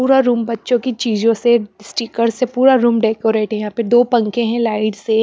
पूरा रूम बच्चों की चीजों से स्टिकेर्स से पूरा रूम डेकोरेट हैयहां पे दो पंखे हैं लाइट से--